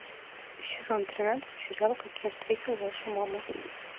сезон тринадцать сериал как я встретил вашу маму